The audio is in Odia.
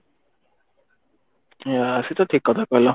ଅ ସେଟା ତ ଠିକ କଥା କହିଲ